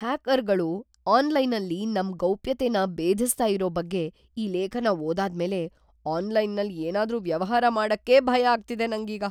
ಹ್ಯಾಕರ್‌ಗಳು ಆನ್‌ಲೈನಲ್ಲಿ ನಮ್ ಗೌಪ್ಯತೆನ ಬೇಧಿಸ್ತಾ ಇರೋ ಬಗ್ಗೆ ಈ ಲೇಖನ ಓದಾದ್ಮೇಲೆ ಆನ್ಲೈನಲ್ಲ್‌ ಏನಾದ್ರೂ ವ್ಯವಹಾರ ಮಾಡಕ್ಕೇ ಭಯ ಆಗ್ತಿದೆ ನಂಗೀಗ.